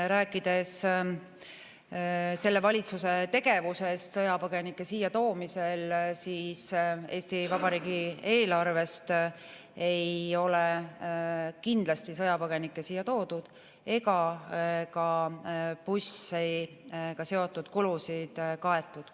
Rääkides selle valitsuse tegevusest sõjapõgenike siiatoomisel, ütlen, et Eesti Vabariigi eelarvest ei ole kindlasti sõjapõgenikke siia toodud ega ka bussidega seotud kulusid ei ole kaetud.